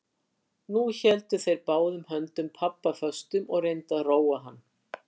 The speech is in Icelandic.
Nú héldu þeir báðum höndum pabba föstum og reyndu að róa hann.